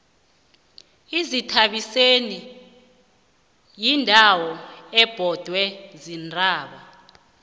izithabiseni yindawo ebhodwe ziintaba